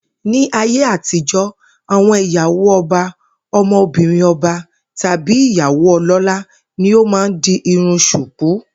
Ní ayé àtijó̩, àwo̩n ìyàwó o̩ba, o̩mo̩bìnrin o̩ba, tàbí ìyàwó o̩ló̩lá ni ó máa ń di irun s̩ùkú